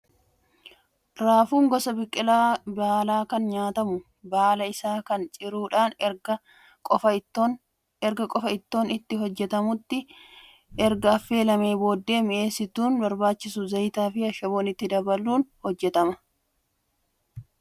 Raafuun gosa biqilaa baalaa kan nyaatamus baala isaa kana ciruudhaan erga qofaa ittoon itti hojjatamutti erga affeelamee booddee mi'eessituun barbaachisu zayitaa fi ashaboo itti dabaluun hojjatama. Raafuun gosa dhangaa nyaataa kamiiti?